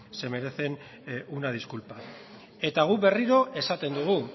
se merecen una disculpa eta guk berriro esaten dugu